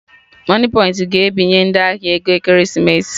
Moniepoint ga ebinye ndị ahịa ego Ekeresimesi